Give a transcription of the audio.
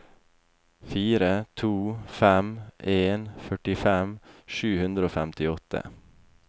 fire to fem en førtifem sju hundre og femtiåtte